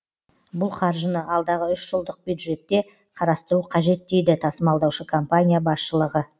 бұл қаржыны алдағы үш жылдық бюджетте қарастыру қажет дейді тасымалдаушы компания басшылығы